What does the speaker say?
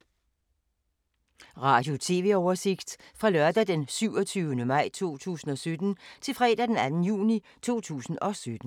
Radio/TV oversigt fra lørdag d. 27. maj 2017 til fredag d. 2. juni 2017